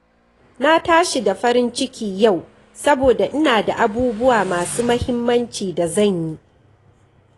Na tashi da farin ciki yau saboda ina da abubuwa masu muhimmanci da zan yi.